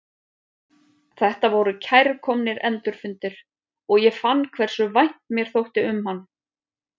Þetta voru kærkomnir endurfundir og ég fann hversu vænt mér þótti um hann.